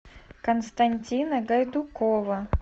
константина гайдукова